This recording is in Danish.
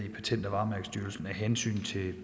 ikke